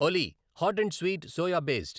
Ollie hot and sweet soya based